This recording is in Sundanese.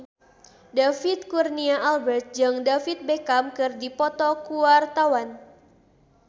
David Kurnia Albert jeung David Beckham keur dipoto ku wartawan